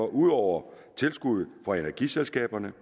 ud over tilskuddet fra energiselskaberne